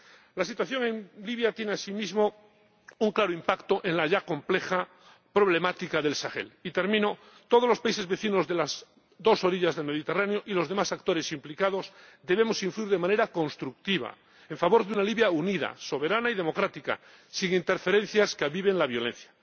La situación en Libia tiene asimismo un claro impacto en la ya compleja problemática del Sahel. En conclusión, todos los países vecinos de las dos orillas del Mediterráneo y los demás actores implicados debemos influir de manera constructiva en favor de una Libia unida, soberana y democrática, sin interferencias que aviven la violencia.